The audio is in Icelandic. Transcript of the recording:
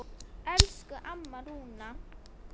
Elsku amma Rúna.